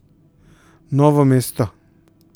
Novo mesto.